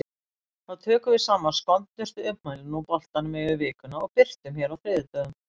Þá tökum við saman skondnustu ummælin úr boltanum yfir vikuna og birtum hér á þriðjudögum.